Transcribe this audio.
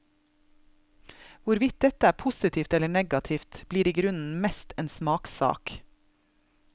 Hvorvidt dette er positivt eller negativt, blir igrunnen mest en smakssak.